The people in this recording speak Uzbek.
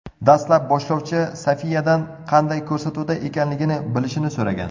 Dastlab boshlovchi Sofiyadan qanday ko‘rsatuvda ekanligini bilishini so‘ragan.